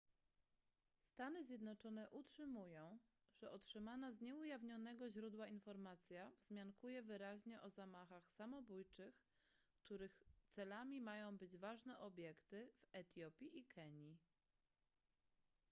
stany zjednoczone utrzymują że otrzymana z nieujawnionego źródła informacja wzmiankuje wyraźnie o zamachach samobójczych których celami mają być ważne obiekty w etiopii i kenii